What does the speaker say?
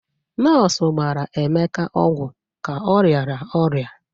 Nọọsụ gbara Emeka ọgwụ ka ọ rịara ọrịa.